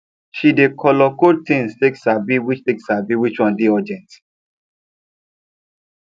she dey color code things take sabi which take sabi which one dey urgent